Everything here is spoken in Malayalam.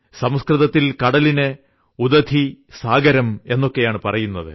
സംസ്കൃതത്തിൽ കടലിന് ഉദധി സാഗരം എന്നൊക്കെയാണ് പറയുന്നത്